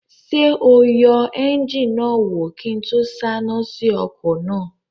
Ṣé o yẹ éúnjínì náà wò kí n tó sáná sí ọkọ̀ náà?